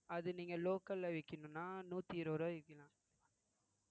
அதை நீங்க local ல விக்கணும்ன்னா நூத்தி இருபது ரூபாய்க்கு விக்கணும்